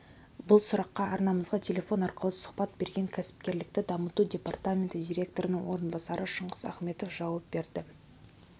бұл сұраққа арнамызға телефон арқылы сұхбат берген кәсіпкерлікті дамыту департаменті директорының орынбасары шыңғыс ахметов жауап берді